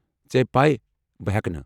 ژےٚ ہے پیہ ، بہٕ ہٮ۪کہٕ نہٕ ۔